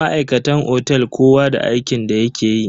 Ma'aikatan otel kowa da aikin da yake yi.